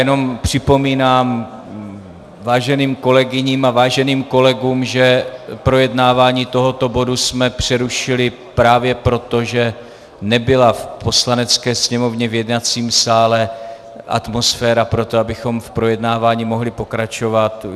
Jenom připomínám váženým kolegyním a váženým kolegům, že projednávání tohoto bodu jsme přerušili právě proto, že nebyla v Poslanecké sněmovně v jednacím sále atmosféra pro to, abychom v projednávání mohli pokračovat.